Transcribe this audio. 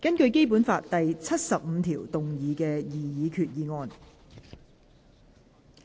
根據《基本法》第七十五條動議的擬議決議案。